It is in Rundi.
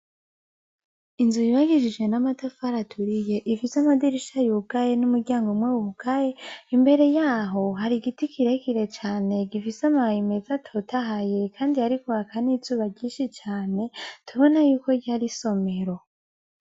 Inzu yubakishijwe namatafari aturiye ifise amadirisha yugaye numuryango umwe wugaye imbere yaho hari igiti kirekire cane gifise amababi meza atotahaye kandi hariko haka nizuba ryinshi cane tubona yuko hariho nisomero